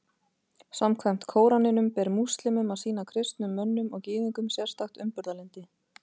Samkvæmt Kóraninum ber múslímum að sýna kristnum mönnum og Gyðingum sérstakt umburðarlyndi.